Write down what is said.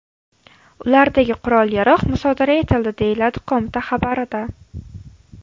Ulardagi qurol-yarog‘ musodara etildi”, deyiladi qo‘mita xabarida.